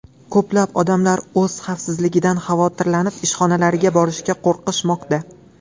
Ko‘plab odamlar o‘z xavfsizligidan xavotirlanib ishxonalariga borishga qo‘rqishmoqda.